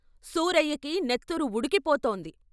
సూరయ్యకి నెత్తురు ఉడికి పోతోంది.